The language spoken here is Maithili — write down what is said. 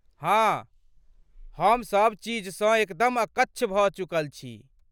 हाँ, हम सब चीजसँ एकदम अकच्छ भऽ चुकल छी।